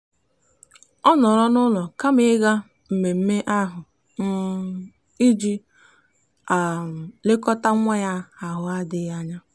ọ nọọrọ n'ụlọ kama ịga mmemme ahụ um iji um lekọta nwa ya ahụ adịghị anya.